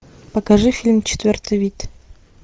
покажи фильм четвертый вид